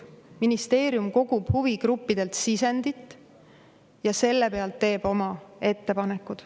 Ministeerium kogub huvigruppidelt sisendit ja selle pealt teeb oma ettepanekud.